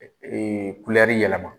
Ee kulɛri yɛlɛma.